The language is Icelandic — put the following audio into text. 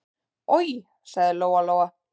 Oj, sagði Lóa-Lóa.